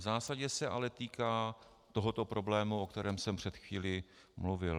V zásadě se ale týká tohoto problému, o kterém jsem před chvílí mluvil.